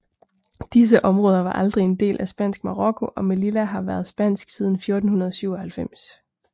Disse områder var aldrig en del af Spansk Marokko og Melilla har været spansk siden 1497